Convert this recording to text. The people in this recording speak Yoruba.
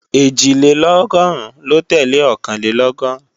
Ẹ̀jìlélọ́gọ́rùn ló tẹ́lẹ̀ Ọ̀kànlélọ́gọ́rùn